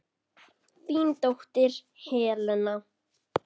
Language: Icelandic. Þín dóttir, Helena.